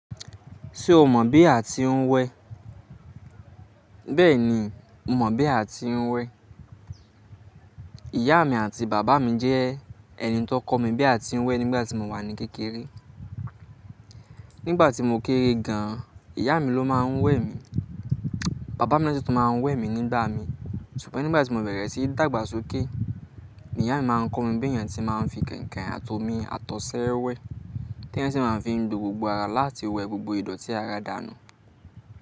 Ṣé o mọ̀ bí a ti ń wẹ? Bẹ́ẹ̀ni mo mọ̀ bí a ti ń wẹ. Ìyá mi àti bàbá mi jẹ́ ẹni tó kọ́ mi bí a ti ń wẹ nígbà tí mo wà ní kékeré. Nígbà tí mo kéré gan, ìyá mi ló máa ń wẹ mi. Bàbá mi na si tun máa ń wẹ mi nígbà mi. Ṣùgbọ́n nígbà tí mo bẹ̀rẹ̀ sí dágbà sókè, ìyá mi máa ń kọ́ mi bí èèyàn tí máa ń fi kain-kain àtọmí àtọ̀sẹ́ wẹ, tí èèyàn sì máa ń fi gbogbo ara láti wẹ gbogbo ìdọ̀tí ara dànù.